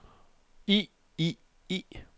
i i i